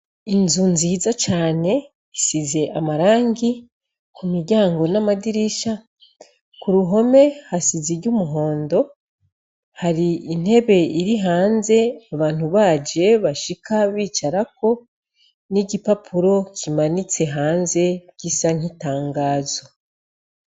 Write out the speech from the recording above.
Inzu nziza cane isize amarangi ku miryango n'amadirisha ku ruhome hasize iry'umuhondo hari intebe iri hanze abantu baje bashika bicarako n'igipapuro kimanitse hanze ry'isa nk'itangazo.